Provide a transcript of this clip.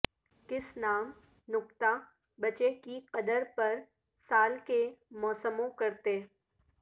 کس نام نکتا بچے کی قدر پر سال کے موسموں کرتے